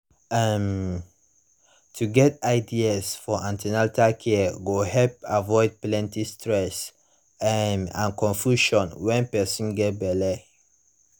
um to get ideas for an ten atal care go help avoid plenty stress um and confusion when person get belle